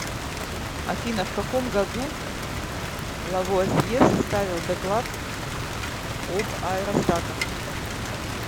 афина в каком году лавуазье составил доклад об аэростатах